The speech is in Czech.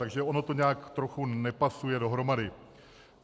Takže ono to nějak trochu nepasuje dohromady.